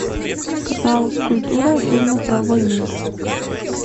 канал культура фильмы про войну